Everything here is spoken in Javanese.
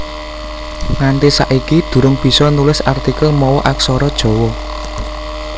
Nganti saiki durung bisa nulis artikel mawa Aksara Jawa